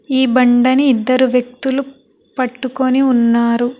ఈ బండని ఇద్దరు వ్యక్తులు పట్టుకొని ఉన్నారు.